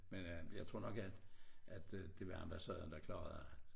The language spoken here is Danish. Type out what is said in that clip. Men øh jeg tror nok at at det var ambassaden der klarede det